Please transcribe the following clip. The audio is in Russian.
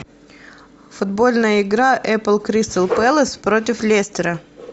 футбольная игра апл кристал пэлас против лестера